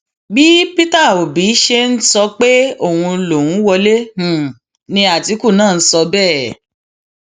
bí peter òbí ṣe ń sọ pé òun lòún wọlé ni àtìkù náà ń sọ bẹẹ